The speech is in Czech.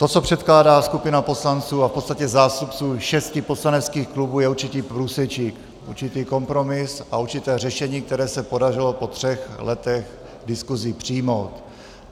To, co předkládá skupina poslanců a v podstatě zástupců šesti poslaneckých klubů, je určitý průsečík, určitý kompromis a určité řešení, které se podařilo po třech letech diskuzí přijmout.